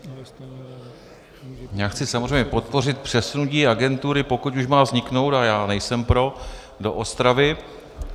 Já chci samozřejmě podpořit přesunutí agentury, pokud už má vzniknout, ale já nejsem pro do Ostravy.